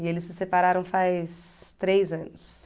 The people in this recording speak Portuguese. E eles se separaram faz três anos.